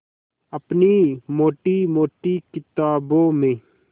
अपनी मोटी मोटी किताबों में